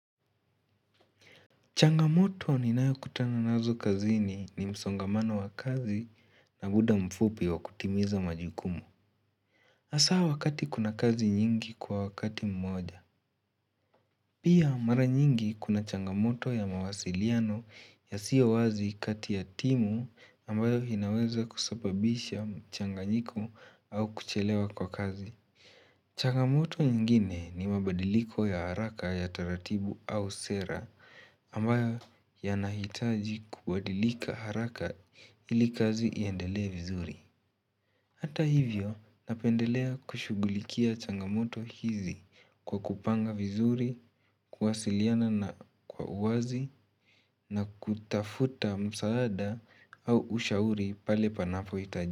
Changamoto ninayokutana nazo kazini ni msongamano wa kazi na muda mfupi wa kutimiza majukumu. Hasa wakati kuna kazi nyingi kwa wakati mmoja. Pia mara nyingi kuna changamoto ya mawasiliano yasiyowazi kati ya timu ambayo inaweza kusababisha mchanganyiko au kuchelewa kwa kazi. Changamoto ingine ni mabadiliko ya haraka ya taratibu au sera ambayo yanahitaji kubadilika haraka ili kazi iendelea vizuri. Hata hivyo napendelea kushughulikia changamoto hizi kwa kupanga vizuri, kuwasiliana na kwa uwazi na kutafuta msaada au ushauri pale panapohitajika.